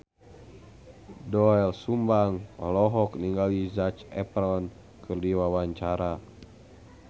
Doel Sumbang olohok ningali Zac Efron keur diwawancara